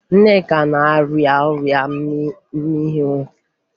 Nneka na-arịa ọrịa mmịnwụ